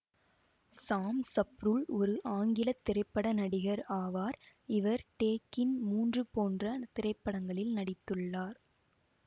சாம் சப்ருல் ஒரு ஆங்கில திரைப்பட நடிகர் ஆவார் இவர் டேகின் மூன்று போன்ற திரைப்படங்களில் நடித்துள்ளார்